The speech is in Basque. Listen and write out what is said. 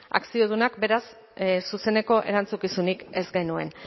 akziodunak beraz zuzeneko erantzukizunik ez genuen